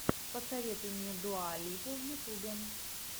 посоветуй мне дуа липу в ютьюбе